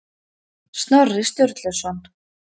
Snorri Sturluson.